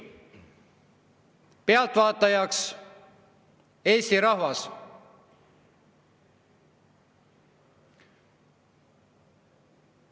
Pealtvaatajaks Eesti rahvas.